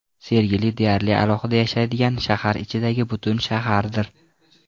Sergeli deyarli alohida yashaydigan shahar ichidagi butun shahardir.